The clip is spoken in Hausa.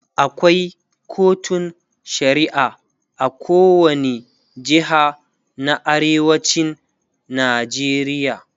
akwai kotun shari'a a kowani jeha na arewacin Najeriya